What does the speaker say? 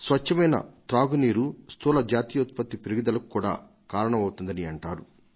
స్వచ్ఛమైన తాగు నీరు జీడీపీ వృద్ధికి కూడా కారణం అవుతుందని అంటారు